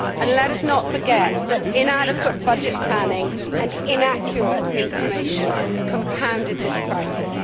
Let us not forget that inadequate budget planning and inaccurate information compounded this crisis.